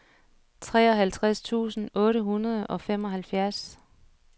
treoghalvtreds tusind otte hundrede og femoghalvfjerds